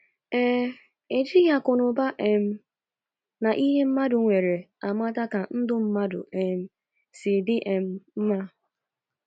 Ee, e jighị akụnụba um na na ihe mmadu nwere amata ka ndụ mmadu um si di um mma.